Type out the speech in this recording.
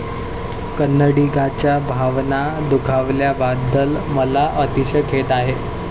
कन्नडीगांच्या भावना दुखावल्याबद्दल मला अतिशय खेद आहे.